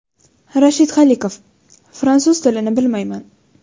Rashid Xoliqov: Fransuz tilini bilmayman.